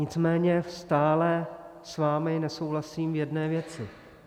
Nicméně stále s vámi nesouhlasím v jedné věci.